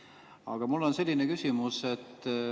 Aga mul on selline küsimus.